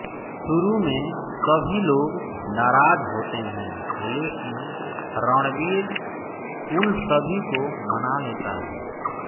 शुरू में सभी लोग नाराज होते हैं लेकिन रणवीर उन सभी को मना लेता है